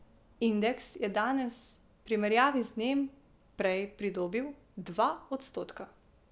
Indeks je danes primerjavi z dnem prej pridobil dva odstotka.